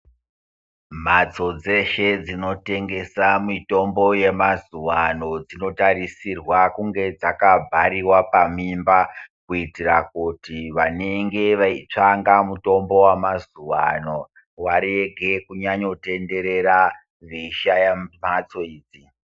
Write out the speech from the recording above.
Mhatso dzeshe dzinotengesa mitombo yemazuva ano dzinotarisirwa kunge dzakabhariwa pamimba, kuitira kuti vanenge veitsvanga mutombo wamazuvano varege kutenderera veishaya mhatso idzi.